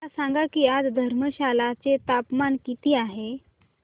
मला सांगा की आज धर्मशाला चे तापमान किती आहे